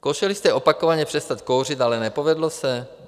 Zkoušeli jste opakovaně přestat kouřit, ale nepovedlo se?